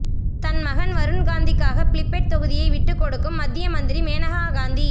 தன் மகன் வருண்காந்திக்காக பிலிபட் தொகுதியை விட்டு கொடுக்கும் மத்திய மந்திரி மேனகா காந்தி